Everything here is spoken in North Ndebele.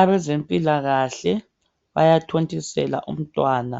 Abezempilakahle bayathontisela umntwana .